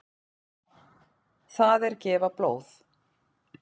Það er gefa blóð.